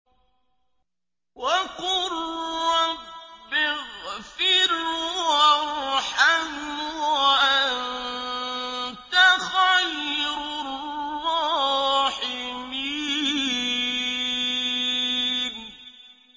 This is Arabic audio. وَقُل رَّبِّ اغْفِرْ وَارْحَمْ وَأَنتَ خَيْرُ الرَّاحِمِينَ